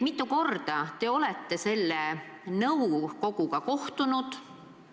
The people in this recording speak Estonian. Mitu korda te olete selle nõukoguga kohtunud?